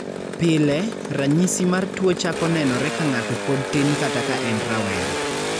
Pile, rachisi mar tuwo chako nenore ka ng'ato pod tin kata ka en rawera.